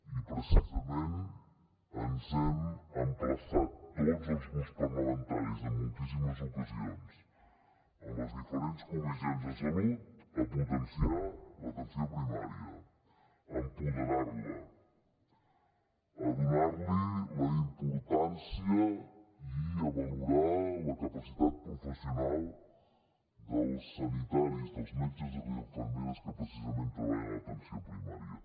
i precisament ens hem emplaçat tots els grups parlamentaris en moltíssimes ocasions en les diferents comissions de salut a potenciar l’atenció primària a empoderar la a donar li la importància i a valorar la capacitat professional dels sanitaris dels metges i les infermeres que precisament treballen a l’atenció primària